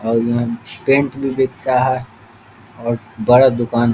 और यहां पेंट भी बिकता है और बड़ा दुकान है।